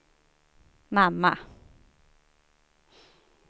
mamma